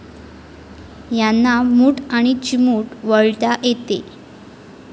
यांना मूठ आणि चिमूट वळता येते.